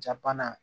Ja bana